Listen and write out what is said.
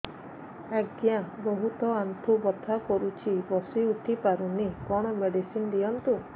ଆଜ୍ଞା ବହୁତ ଆଣ୍ଠୁ ବଥା କରୁଛି ବସି ଉଠି ପାରୁନି କଣ ମେଡ଼ିସିନ ଦିଅନ୍ତୁ